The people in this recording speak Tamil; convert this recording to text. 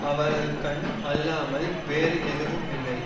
அவரது கண் அல்லாமல் வேறு எதுவுமில்லை